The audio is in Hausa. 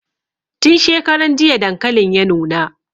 Tin shekaran jiya dankalin ya nuna